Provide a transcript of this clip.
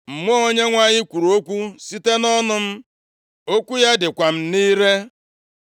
“Mmụọ Onyenwe anyị kwuru okwu site nʼọnụ m, okwu ya dịkwa m nʼire.